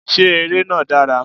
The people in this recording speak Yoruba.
Ṣé ère náà dára?